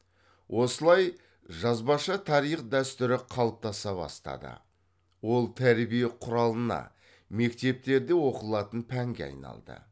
осылай жазбаша тарих дәстүрі қалыптаса бастады ол тәрбие құралына мектептерде оқылатын пәнге айналды